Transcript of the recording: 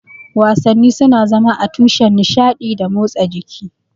Wasanni suna zama tushen nishaɗi da motsa jiki.